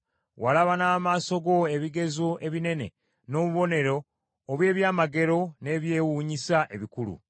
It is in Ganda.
Walaba n’amaaso go ebigezo ebinene, n’obubonero obw’ebyamagero, n’ebyewuunyisa ebikulu.